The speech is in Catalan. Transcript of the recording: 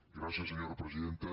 gràcies senyora presidenta